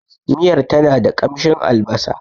Miyar tana da ƙamshin albasa.